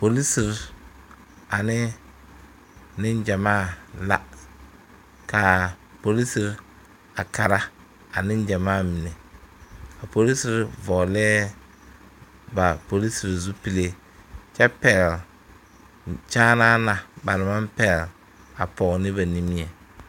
Polisire ane niŋgyamaa la kaa polisire a kara a niŋgyamaa mine a polisire vɔglɛɛ ba polisire zupile kyɛ pɛgle kyaanaa na ba naŋ maŋ kyaan ne ba nimie.